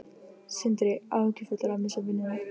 Sindri: Áhyggjufullur að missa vinnuna?